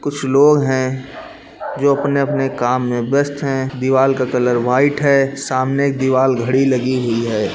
कुछ लोग है जो अपने-अपने काम में व्यस्त है दीवाल का कलर व्हाइट है सामने एक दीवाल घड़ी लगी हुई है।